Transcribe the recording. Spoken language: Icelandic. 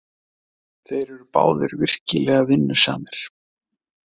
Þeir eru báðir virkilega vinnusamir.